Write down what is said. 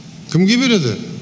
кімге береді